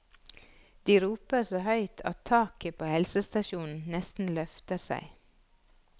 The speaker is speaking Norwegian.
De roper så høyt at taket på helsestasjonen nesten løfter seg.